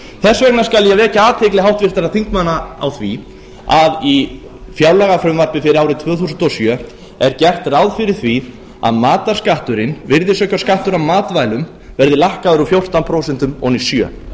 þess vegna skal ég vekja athygli háttvirtra þingmanna á því að í fjárlagafrumvarpi fyrir árið tvö þúsund og sjö er gert ráð fyrir því að matarskatturinn virðisaukaskattur af matvælum verði lækkaður úr fjórtán prósent ofan í